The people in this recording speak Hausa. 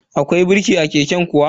Akwai birki a keken kuwa?